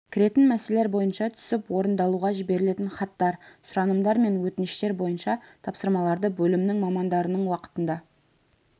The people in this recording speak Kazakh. кіретін мәселелер бойынша түсіп орындалуға жіберілген хаттар сұранымдар мен өтініштер бойынша тапсырмаларды бөлімнің мамандарының уақытында